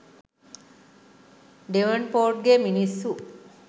ඩෙවන්පෝර්ට්ගේ මිනිස්සු